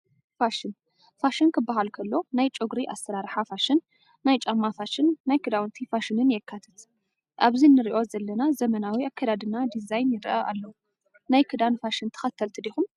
ፋሽን፡- ፋሽን ክባሃል ከሎ ናይ ጨጉሪ ኣሰራርሓ ፋሽን፣ ናይ ጫማ ፋሽን፣ ናይ ክዳውንቲ ፋሽንን የካትት፡፡ ኣብዚ ንሪኦ ዘለና ዘመናዊ ኣካደድና ዲዛይን ይረአ ኣሎ፡፡ ናይ ክዳን ፋሽን ተኸተልቲ ዲኹም?